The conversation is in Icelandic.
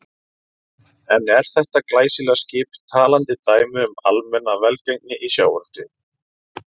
En er þetta glæsilega skip talandi dæmi um almenna velgengni í sjávarútvegi?